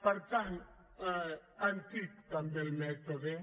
per tant antic també el mètode